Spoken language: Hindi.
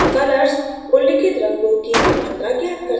colors उल्लिखित रंगों की मात्रा ज्ञात करता है